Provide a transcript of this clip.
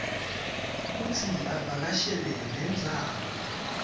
kutsi avakashele lendzawo